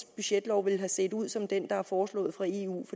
budgetlov ville have set ud som det der er blevet foreslået fra eus